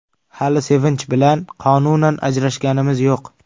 Hali Sevinch bilan qonunan ajrashganimiz yo‘q.